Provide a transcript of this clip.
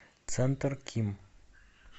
центр ким